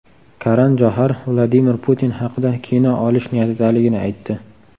Karan Johar Vladimir Putin haqida kino olish niyatidaligini aytdi.